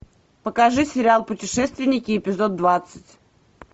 покажи сериал путешественники эпизод двадцать